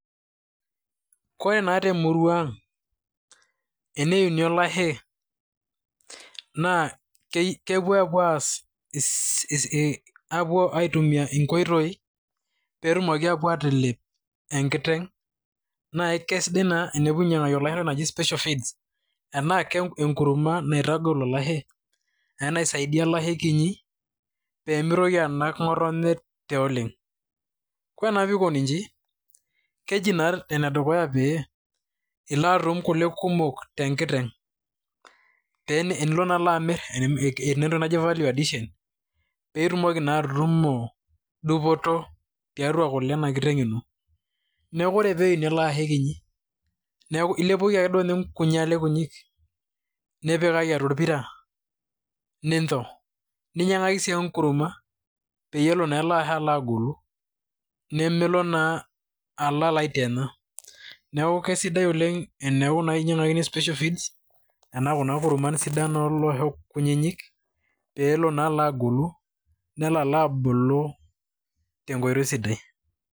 Kore naa te murua ang' teneyuni olashe naa kepuo apuo aas ss ii aapuo aitumi inkoitoi pee etumoki apuo atalep enkiteng' nae kesidai naa enipuoi ainyang'aki olashe entoki naji special feeds, enake enkurma naitagol olashe enae enaisaidia olashe kinyi pee mitoki anak ng'otonye tioleng'. Ore naa pikoni nji, keji naa ene dukuya pee ilo atum kule kumo te nkiteng' pee enilo amir, eti naa entoki naji value addition piitumoki naa atutumo dupoto tiatua kule ena kiteng' ino. Neeku ore pee eyuni ele ashe kinyi neeku ilepoki ake duo nye nkunyi ale kunyik nipikaki atua orpira ninjo, ninyang'aki sii nye enkurma peyie elo ele ashe agolu nemelo naa alo alo aitienya. Neeku kesidai oleng' eneeku naa inyang'akini special feeds ena kuna kurman sidan olosho kunyinyik peelo naa alo agolu te nkoitoi sidai.